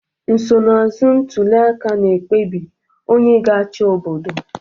Nsonaazụ ntuliaka na ekpebi onye ga-achị obodo.